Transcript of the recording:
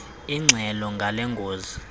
ingxelo ngale ngozi